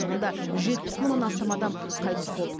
онда жүз жетпіс мыңнан астам адам қайтыс болды